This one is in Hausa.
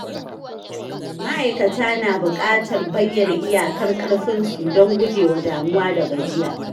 Ma’aikata na bukatar bayyana iyakar ƙarfinsu don gujewa damuwa da gajiya.